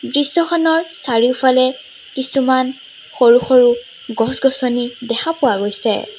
দৃশ্যখনৰ চাৰিওফালে কিছুমান সৰু সৰু গছ-গছনি দেখা পোৱা গৈছে।